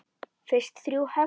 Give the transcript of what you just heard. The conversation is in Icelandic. Fyrst þrjú högg.